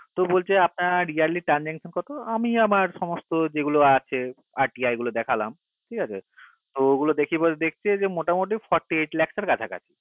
তো বলছে আপনার yearly transaction কত আমি আমার সমস্ত যেগুলো আছে RTI গুলো দেখালাম ঠিক আছে ত অগুলো দেখে দেখছে মোটামোটি forty eight lacs এর কাছাকাছি